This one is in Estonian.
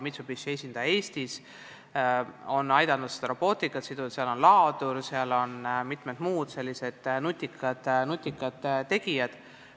Mitsubishi esindaja Eestis on aidanud robootikaga, seal on laadur, seal on mitmed muud nutikad asjad.